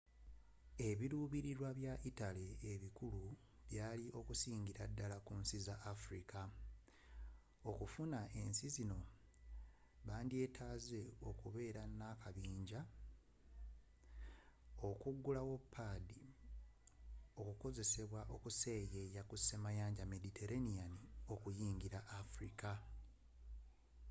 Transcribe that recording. ebirubirirwa bya italy ebikulu byali okusingira dddal ku nsi za afirika okufuna ensi ezo bandyetaaze okubeera n'akabinjja okugulawo padi okukasobozesa okuseyeeya ku semayanja mediterranean okuyingira afirika